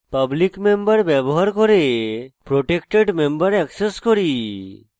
public member ব্যবহার করে protected member access করি